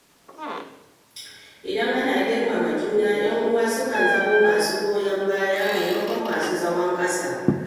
Idan ana girmama juna, ‘yan’uwa sukan zama masu goyon baya maimakon masu zagon ƙasa.